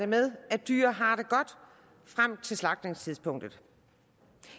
med at dyr har det godt frem til slagtningstidspunktet